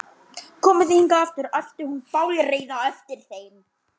Komið þið hingað aftur! æpti hún bálreið á eftir þeim.